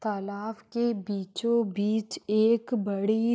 तालाब के बीचो बिच एक बड़ी--